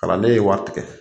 Kalan den ye wari tigɛ.